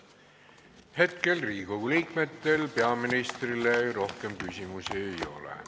Hetkel Riigikogu liikmetel peaministrile rohkem küsimusi ei ole.